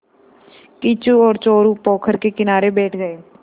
किच्चू और चोरु पोखर के किनारे बैठ गए